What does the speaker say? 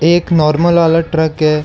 एक नॉर्मल वाला ट्रक है।